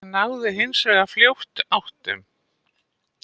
Þeir náðu hins vegar fljótt áttum